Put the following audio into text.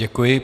Děkuji.